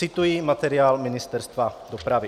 Cituji materiál Ministerstva dopravy.